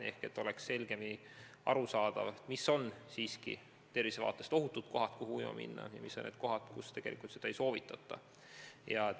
Peab olema selgemini arusaadav, millised on tervise seisukohast ohutud kohad, kuhu ujuma minna, ja millised on kohad, kus seda ei soovitata teha.